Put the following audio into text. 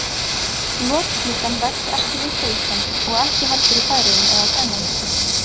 Lotklukkan vex ekki villt á Íslandi og ekki heldur í Færeyjum eða á Grænlandi.